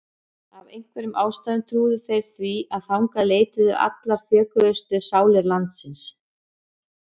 Af einhverjum ástæðum trúðu þeir því að þangað leituðu allar þjökuðustu sálir landsins.